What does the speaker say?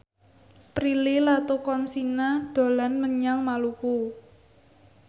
Prilly Latuconsina dolan menyang Maluku